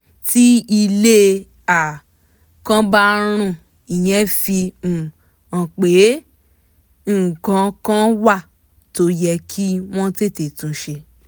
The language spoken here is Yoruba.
tí ilé um kan bá rùn ìyẹn fi um hàn pé nǹkan kan wà tó yẹ kí wọ́n tètè tún ṣe